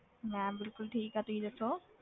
ਮੈਂ ਬਿਲਕੁੁਲ ਠੀਕ ਹਾਂ, ਤੁਸੀਂ ਦੱਸੋ।